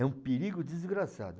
É um perigo desgraçado.